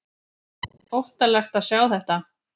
Óttalegt að sjá þetta!